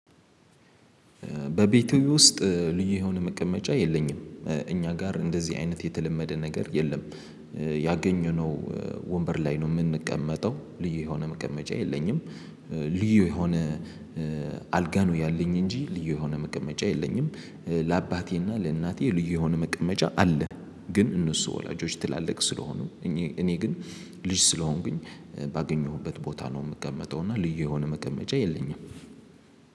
በቤትህ ውስጥ ልዩ የሆነ መቀመጫ የለኝም። እኛ ጋር እንደዚህ አይነት የተለመደ ነገር የለም። ያገኘነው ወንበር ላይ ነው የምንቀመጠው ልዩ የሆነ መቀመጫ የለኝም። ልዩ የሆነ አልጋ ነው ያለኝ እንጂ ልዩ የሆነ መቀመጫ የለኝም። ለአባቴና ለእናቴ ልዩ የሆነ መቀመጫ አለ። ግን እነሱ ወላጆች ትላልቅ ስለሆኑ እኔ ግን ልጅ ስለሆንኩኝ ባገኘሁበት ቦታ ነው የምቀመጠው። እና ልዩ የሆነ መቀመጫ የለኝም